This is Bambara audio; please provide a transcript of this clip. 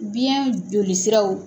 Biyɛn joli siraw